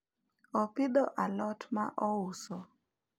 opidho alot ma ouso